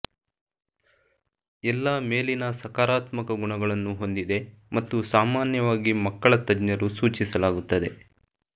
ಎಲ್ಲಾ ಮೇಲಿನ ಸಕಾರಾತ್ಮಕ ಗುಣಗಳನ್ನು ಹೊಂದಿದೆ ಮತ್ತು ಸಾಮಾನ್ಯವಾಗಿ ಮಕ್ಕಳ ತಜ್ಞರು ಸೂಚಿಸಲಾಗುತ್ತದೆ